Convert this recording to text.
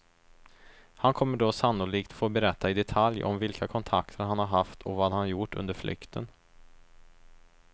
Han kommer då sannolikt få berätta i detalj om vilka kontakter han har haft och vad han har gjort under flykten.